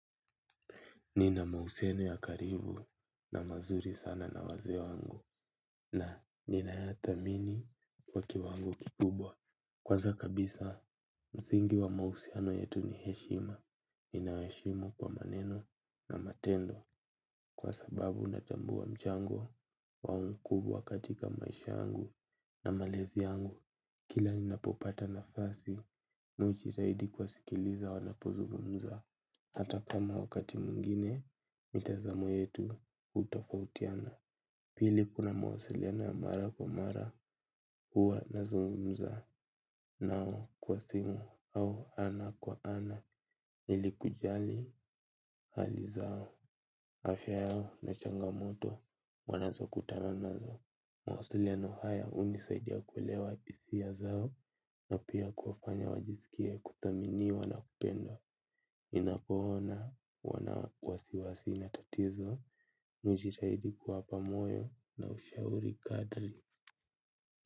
Nina mausiemi ya karibu na mazuri sana na waze wangu na nina ya thamini kwa kiwango kikubwa. Kwanza kabisa, mzingi wa mahusiano yetu ni heshima ninaweshimu kwa maneno na matendo kwa sababu natambua mchango wao mkubwa katika maisha yangu na malezi yangu. Kila ninapopata nafasi, mi hujitahidi kuwasikiliza wanapozungumza. Hata kama wakati mwingine mitazamo yetu hutofautiana. Pili kuna mawasiliano ya mara kwa mara huwa nazungumza nao kwa simu au ana kwa ana lli kujali hali zao afya yao na changamoto wanazo kutana nazo. Mawasiliano haya hunisaidia kuelewa hisia zao na pia kufanya wajisikie kudhaminiwa na kupendwa ninapoona wana wasiwasi na tatizo mi hujitahidi kuwapa moyo na ushauri kadri.